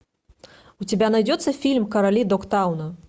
у тебя найдется фильм короли догтауна